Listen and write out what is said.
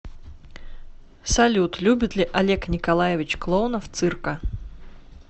салют любит ли олег николаевич клоунов цирка